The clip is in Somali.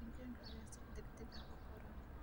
Digaagga ayaa si degdeg ah u koraan.